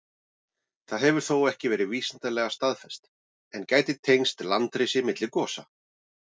Það hefur þó ekki verið vísindalega staðfest, en gæti tengst landrisi milli gosa.